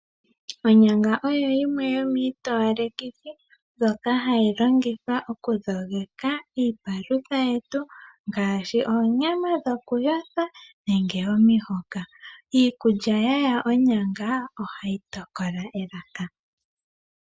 Onyanga oyo yimwe yomiitowalekithi, ndjoka hayi longithwa okudhogeka iipalutha yetu ngaashi: oonyama dhokuyothwa, nenge omihoka. Iikulya ya tulwa onyanga, ohayi tokola elaka.